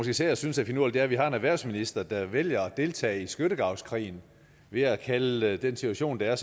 især synes er finurligt er at vi har en erhvervsminister der vælger at deltage i skyttegravskrigen ved at kalde den situation der er